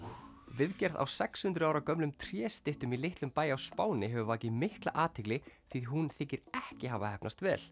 viðgerð á sex hundruð ára gömlum tréstyttum í litlum bæ á Spáni hefur vakið mikla athygli því hún þykir ekki hafa heppnast vel